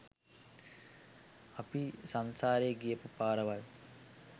අපි සංසාරේ ගියපු පාරවල්.